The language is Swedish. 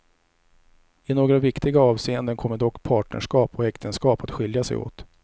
I några viktiga avseende kommer dock partnerskap och äktenskap att skilja sig åt.